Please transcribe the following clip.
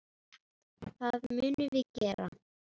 Það munum við gera.